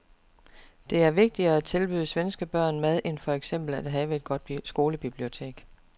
Det er vigtigere at tilbyde svenske børn mad end for eksempel at have et godt skolebibliotek.